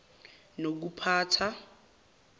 nokuphatha